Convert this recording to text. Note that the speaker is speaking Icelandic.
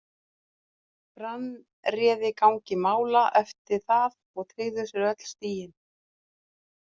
Brann réði gangi mála eftir það og tryggðu sér öll stigin.